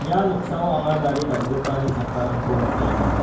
ia noksao anga gari dal·gipani chakkarangko nikenga.